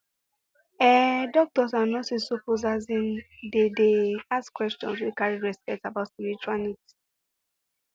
ehh doctors and nurses suppose asin dey dey ask questions wey carry respect about spiritual needs